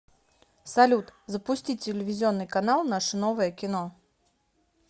салют запусти телевизионный канал наше новое кино